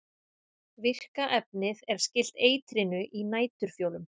virka efnið er skylt eitrinu í næturfjólum